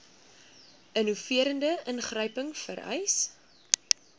innoverende ingryping vereis